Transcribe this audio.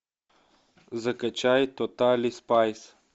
закачай тотали спайс